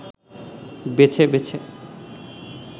বেছে বেছে